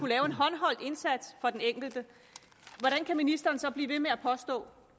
lave en håndholdt indsats for den enkelte hvordan kan ministeren så blive ved med at påstå